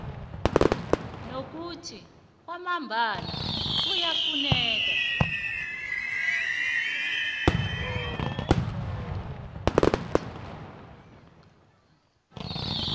nokuthi nangambala kuyafuneka